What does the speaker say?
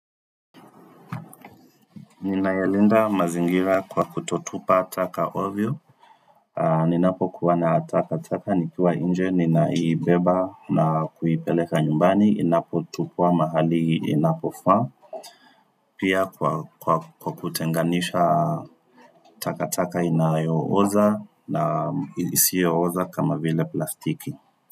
Ninayalinda mazingira kwa kutotupa taka ovyo Ninapokuwa na taka taka nikiwa nje ninaibeba na kuipeleka nyumbani inapotupwa mahali inapofaa Pia kwa kutenganisha taka taka inayo oza na isiyo oza kama vile plastiki.